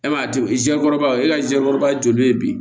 E ma diya kɔrɔbaw ye e ka ze kɔrɔbaya joli ye bi